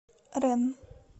ренн